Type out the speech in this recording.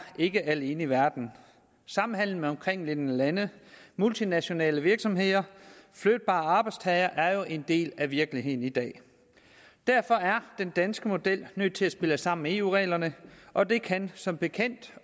ikke alene i verden samhandel med omkringliggende lande multinationale virksomheder og flytbare arbejdstagere er jo en del af virkeligheden i dag derfor er den danske model nødt til at spille sammen med eu reglerne og det kan som bekendt